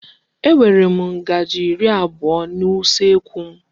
E nwere ngaji iri abụọ n'usekwu.